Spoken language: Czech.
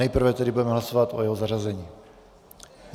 Nejprve tedy budeme hlasovat o jeho zařazení.